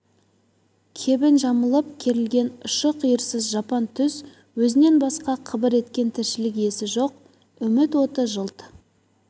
кебін жамылып керілген ұшы-қиырсыз жапан түз өзінен басқа қыбыр еткен тіршілік иесі жоқ үміт оты жылт